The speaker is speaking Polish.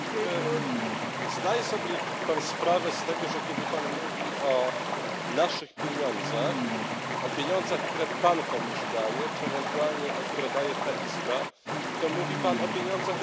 Zdaje sobie Pan sprawę z tego, że kiedy Pan mówi o naszych pieniądzach, o pieniądzach, które Pan komuś daje czy ewentualnie które daje ta Izba, to mówi Pan o pieniądzach naszych obywateli?